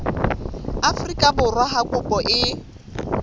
afrika borwa ha kopo e